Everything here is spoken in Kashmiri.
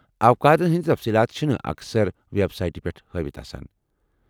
اوقاتن ہندِ تفصیٖلات چھِنہٕ اکثر وٮ۪بسایٹہِ پٮ۪ٹھ ہٲوتھ آسان۔